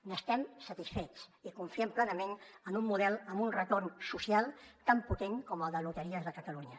n’estem satisfets i confiem plenament en un model amb un retorn social tan potent com el de loteries de catalunya